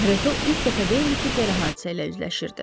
Reto ilk dəfə deyildi ki, belə hadisə ilə üzləşirdi.